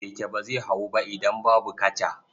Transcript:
Keke ba zai hawu ba idan babu kaca.